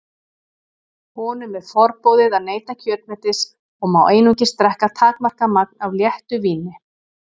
Honum er forboðið að neyta kjötmetis og má einungis drekka takmarkað magn af léttu víni.